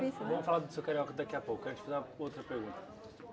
Vamos falar do seu carioca daqui a pouco, antes uma outra pergunta.